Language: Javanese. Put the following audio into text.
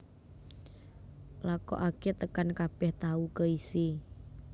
Lakokaké tekan kabèh tahu keisi